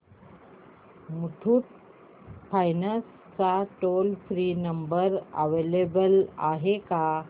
Muthoot finance चा toll free number available आहे का